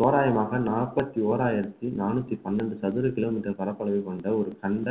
தோராயமாக நாற்பத்தி ஓராயிரத்தி நானூத்தி பன்னெண்டு சதுர kilometre பரப்பளவு கொண்ட ஒரு சந்த